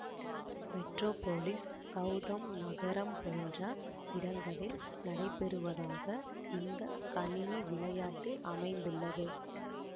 Metropolis Gotham நகரம் போன்ற இடங்களில் நடைபெறுவதாக இந்த கணினி விளையாட்டு அமைந்துள்ளது